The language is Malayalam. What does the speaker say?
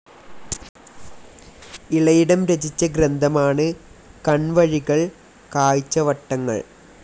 ഇളയിടം രചിച്ച ഗ്രന്ഥമാണ് കൺവഴികൾ കാഴ്ചവട്ടങ്ങൾ.